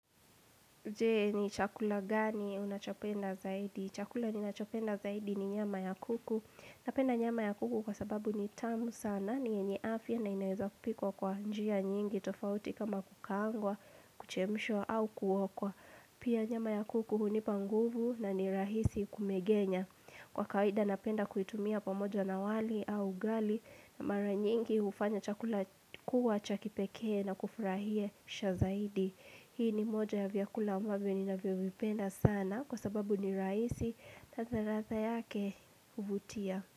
Je, ni chakula gani unachopenda zaidi? Chakula ninachopenda zaidi ni nyama ya kuku. Napenda nyama ya kuku kwasababu ni tamu sana, ni yenye afya na inaweza kupikwa kwa njia nyingi tofauti kama kukangwa, kuchemshwa au kuokwa. Pia nyama ya kuku hunipa nguvu na ni rahisi kumegenya. Kwa kawaida napenda kuitumia pamoja na wali au ugali na mara nyingi hufanya chakula kuwa cha kipekee na kufurahisha zaidi. Hii ni moja ya vyakula ambavyo ninavyovipenda sana kwa sababu ni rahisi, hata ladha yake huvutia.